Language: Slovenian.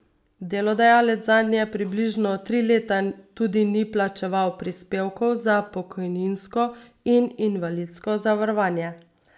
Delodajalec zanje približno tri leta tudi ni plačeval prispevkov za pokojninsko in invalidsko zavarovanje.